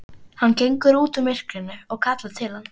Hann gengur út úr myrkrinu og kallar til hans.